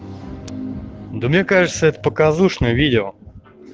да мне кажется это показушное видео